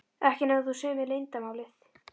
Ekki nema þú segir mér leyndarmálið.